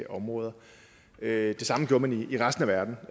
områder det samme gjorde man i resten af verden